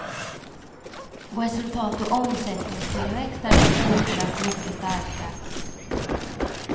Resultat och omsättningstillväxt är dock fortsatt mycket starka.